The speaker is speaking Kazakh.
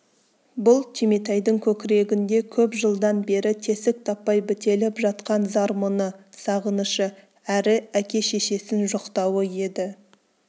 бұл түйметайдың көкірегінде көп жылдан бері тесік таппай бітеліп жатқан зар-мұңы сағынышы әрі әке-шешесін жоқтауы еді